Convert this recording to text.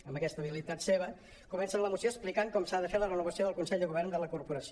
amb aquesta habilitat seva comencen la moció explicant com s’ha de fer la renovació del consell de govern de la corporació